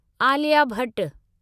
Alia Bhatt